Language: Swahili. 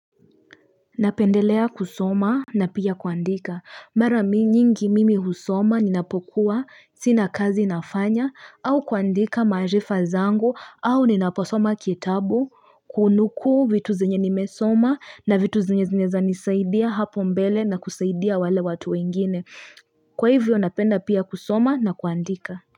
Napendelea kusoma na pia kuandika mara nyingi mimi husoma ninapokuwa sina kazi nafanya au kuandika majifa zango au ninaposoma kitabu kunuku vitu zenye nimesoma na vitu zinye zanisaidia hapo mbele na kusaidia wale watu wengine Kwa hivyo napenda pia kusoma na kuandika.